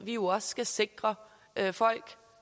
vi jo også skal sikre folk